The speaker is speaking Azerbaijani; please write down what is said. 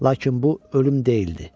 Lakin bu ölüm deyildi.